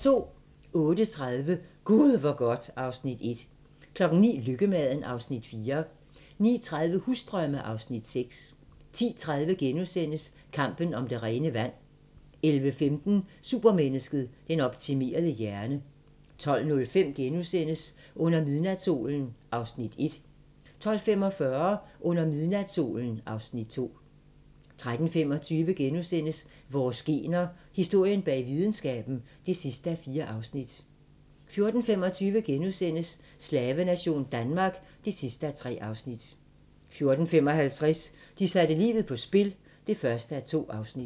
08:30: Gud hvor godt (Afs. 1) 09:00: Lykkemaden (Afs. 4) 09:30: Husdrømme (Afs. 6) 10:30: Kampen om det rene vand (3:3)* 11:15: Supermennesket: Den optimerede hjerne 12:05: Under midnatssolen (Afs. 1)* 12:45: Under midnatssolen (Afs. 2) 13:25: Vores gener - historien bag videnskaben (4:4)* 14:25: Slavenation Danmark (3:3)* 14:55: De satte livet på spil (1:2)